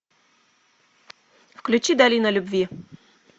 включи долина любви